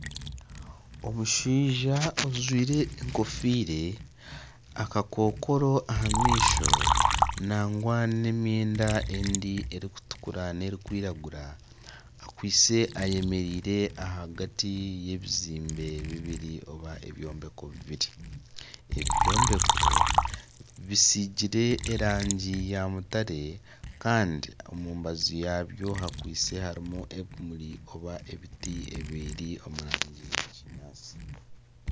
Omushaija ajwaire enkofiira ,akakokoro aha maisho nangwa n'emyenda endiijo erikutukura nerikwiragura akwaitse ayemereire ahagati y'ebizimbe bibiri nari ebyombeko bibiri ebyombeko bisiigire erangi ya mutare Kandi omumbazu yaabyo hakwaitse harimu ebimuri oba ebiti ebiri omurangi ya kinyatsi.